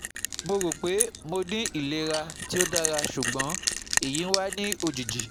Mo ro pé mo ti n ni ilera ti o o dara sugbon eyi wa ni lojiji